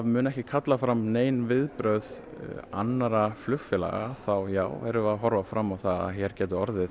mun ekki kalla fram nein viðbrögð annarra flugfélaga þá já erum við að horfa fram á að hér gæti orðið